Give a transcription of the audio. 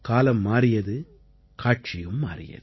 காலம் மாறியது காட்சியும் மாறியது